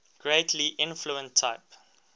greatly inflate type